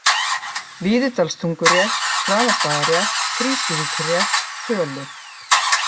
Víðidalstungurétt, Hraðastaðarétt, Krýsuvíkurrétt, Tölur